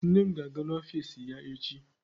Nne m ga-aga n'ọfiisi ya echi.